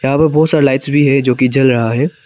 यहां पर बहुत सारा लाइट्स जो कि जल रहा है।